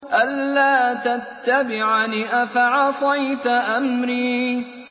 أَلَّا تَتَّبِعَنِ ۖ أَفَعَصَيْتَ أَمْرِي